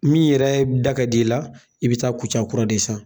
Min yɛrɛ da ka di i la, i bi taa kuca kura de san.